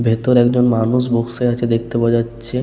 ভেতরে একজন মানুষ বসে আছে দেখতে পাওয়া যাচ্ছে-এ।